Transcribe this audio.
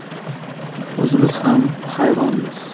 – O‘zimiz ham hayronmiz.